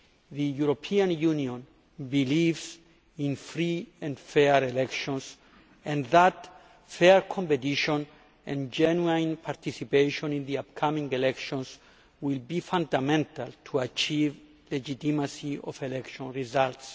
The European Union believes in free and fair elections and that fair competition and genuine participation in the upcoming elections will be fundamental in achieving the legitimacy of election results.